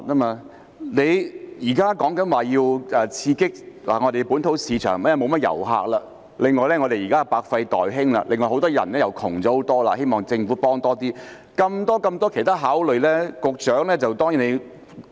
政府說要刺激本土市場，因為遊客不多，而且現在百廢待興，很多人變得貧窮等，希望政府給予幫忙，還有眾多其他考慮因素......